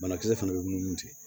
Banakisɛ fana bɛ munumunu ten